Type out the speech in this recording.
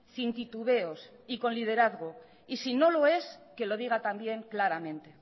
sin titubeos y con liderazgo y si no lo es que lo diga también claramente